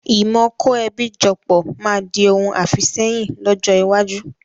Ìmọ kò ẹbí jọ pọ̀ máa di òun àfìsẹ́yìn lọ́jọ́ iwájú